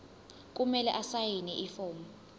kumele asayine ifomu